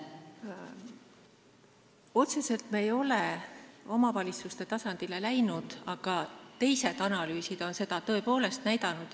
Otseselt ei ole me omavalitsuste tasandile läinud, aga teised analüüsid on seda tõepoolest näidanud.